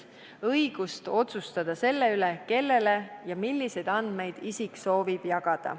Ei tohi piirata inimeste õigust otsustada selle üle, kellele ja milliseid andmeid enda kohta nad soovivad jagada.